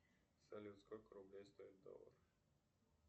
салют сколько рублей стоит доллар